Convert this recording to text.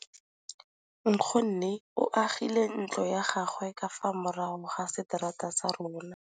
Nkgonne o agile ntlo ya gagwe ka fa morago ga seterata sa rona.